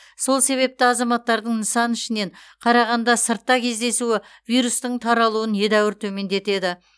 сол себепті азаматтардың нысан ішінен қарағанда сыртта кездесуі вирустың таралуын едәуір төмендетеді